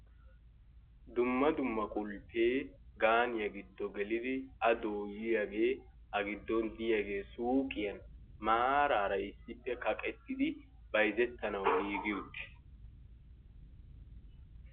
Dumma dumma qulpee gaaniya giddo gelidi a dooyiyagee a giddon diyagee suuqiyan maaraara issippe kaqetidi bayizettanwu giigi uttiis.